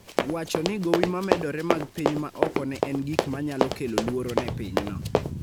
wacho ni gowi ma medore mag piny ma oko ne en gik ma nyalo kelo luoro ne pinyno.